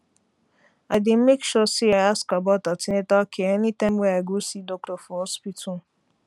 i dey make sure say i ask about an ten atal care anytime wey i go see doctor for hospital